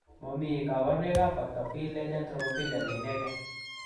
Momii kabarunoikab factor V Leiden thrombophilia ne inegee.